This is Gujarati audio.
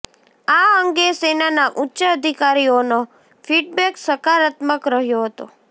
આ અંગે સેનાના ઉચ્ચ અધિકારીઓનો ફીડબેક સકારાત્મક રહ્યો હતો